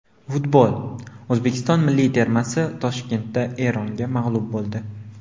Futbol: O‘zbekiston milliy termasi Toshkentda Eronga mag‘lub bo‘ldi.